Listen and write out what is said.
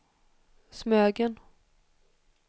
Smögen